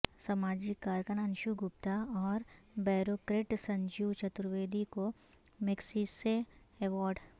سماجی کارکن انشو گپتا اور بیوروکریٹ سنجیو چترویدی کو میگسیسے ایوارڈ